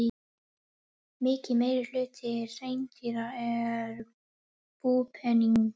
Mikill meirihluti hreindýra er búpeningur.